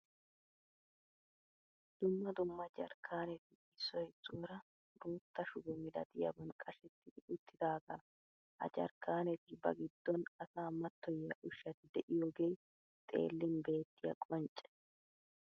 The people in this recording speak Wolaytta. Dumma dumma jarkkaaneti issoy issuwara bootta shubo milatiyaban qashetti uttidaagaa. Ha jarkkaaneti ba giddon asaa mattoyiya ushshati de'iyogee xeellin beettiya qoncce.